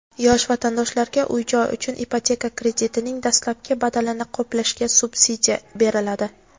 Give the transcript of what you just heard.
Yosh vatandoshlarga uy-joy uchun ipoteka kreditining dastlabki badalini qoplashga subsidiya beriladi.